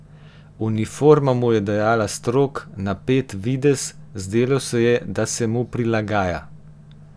Uniforma mu je dajala strog, napet videz, zdelo se je, da se mu prilagaja.